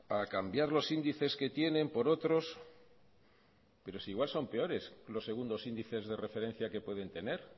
a cambiar los índices que tienen por otros pero si igual son peores los segundos índices de referencia que pueden tener